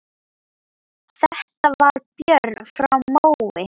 Þetta var Björn frá Mói.